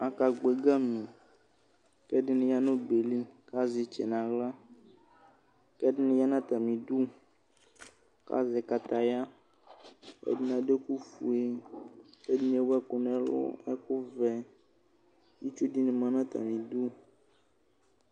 Akagbɔ ɛgamikʋ ɛdini yanu ɔbɛ yɛ likʋ azɛ kʋ azɛ itsɛ nʋ aɣlakʋ ɛdini yanʋ atami'du, kʋ azɛ katayaɛdini adu ɛku fueɛdini ewu ɛku nu ɛlu, ɛkʋ vɛitsu dini ma nu atamidu